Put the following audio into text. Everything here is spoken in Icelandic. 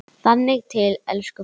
Þangað til, elsku frændi.